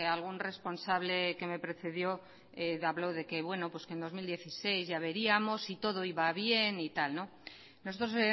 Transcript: algún responsable que me precedió habló de que bueno pues que en dos mil dieciséis ya veríamos si todo iba bien y tal nosotros